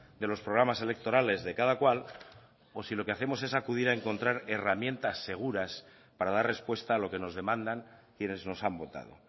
de los programas electorales de cada cual o si lo que hacemos es acudir a encontrar herramientas seguras para dar respuesta a lo que nos demandan quienes nos han votado